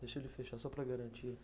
Deixa ele fechar só para garantir.